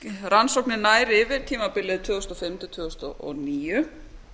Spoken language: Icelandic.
rannsóknin nær yfir tímabilið tvö þúsund og fimm til tvö þúsund og níu